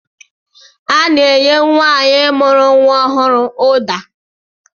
Ana-enye nwaanyị mụrụ nwa ọhụrụ ụda